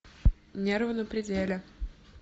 нервы на пределе